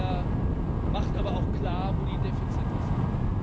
Er macht aber auch klar, wo die Defizite sind.